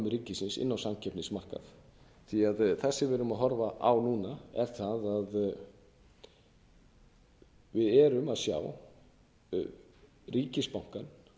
ríkisins inn á samkeppnismarkað því að það sem við erum að horfa á núna er það að við erum að sjá ríkisbankann